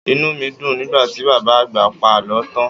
Inú mi dùn nígbà tí Bàbá Àgbà pa àlọ́ tán.